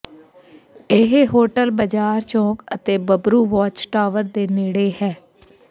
ਇਹ ਹੋਟਲ ਬਾਜ਼ਾਰ ਚੌਂਕ ਅਤੇ ਬੱਬਰੂ ਵਾਚ ਟਾਵਰ ਦੇ ਨੇੜੇ ਹੈ